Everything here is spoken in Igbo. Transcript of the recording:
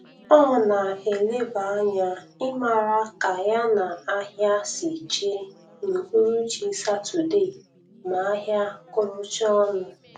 O na -eleba anya ịmara ka ya na ahia si jee n'uhuruchi satode ma ahia kụrụchaa ọnụ.